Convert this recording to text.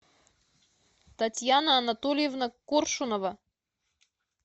татьяна анатольевна коршунова